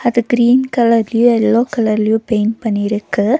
அது கிரீன் கலர்லயு எல்லோ கலர்லயு பெயிண்ட் பண்ணிருக்கு.